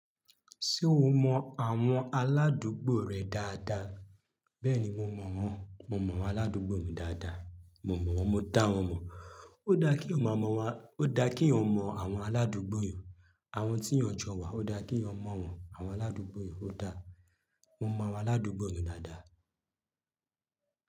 Ṣé o mọ àwọn aládùúgbò rẹ dáadáa? Bẹ́ẹ̀ni mo mọ wọ́n, mo mọ àwọn aládùúgbò mi dáadáa. Mo mọ̀ wọ́n, mo dá wọn mọ̀. Ó dáa kí eyan ma mọ̀ wá, ó dáa kí eyan mọ àwọn aládùúgbò yan, àwọn tí eyan jọ wá. Ó dáa kí eyan mọ̀ wọ́n, àwọn aládùúgbò yan ó dáa. Mo mọ àwọn aládùúgbò mi dáadáa.